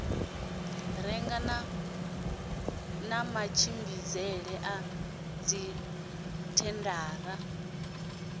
renga na matshimbidzele a dzithendara